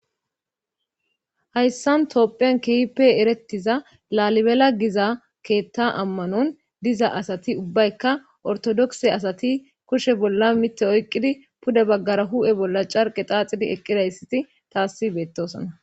hayssan toophiyan kihipe erettiza lalibela giza keetta ammanon diza asati ubbaykka ortodokse asati kushe bolla mitte oyqqidi puda baggara hu'e bolla carqe xaaxidi eqqidayssati taasi beettosana